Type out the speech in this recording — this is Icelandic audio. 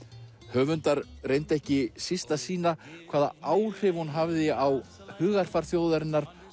höfundar reyndu ekki síst að sýna hvaða áhrif hún hafði á hugarfar þjóðarinnar